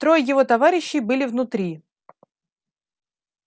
трое его товарищей были внутри